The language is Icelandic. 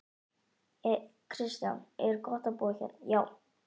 Kristján: Er gott að búa hérna?